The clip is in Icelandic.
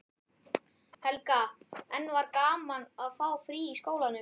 Helga: En var gaman að fá frí í skólanum?